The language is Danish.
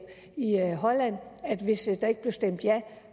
i holland at hvis der ikke blev stemt ja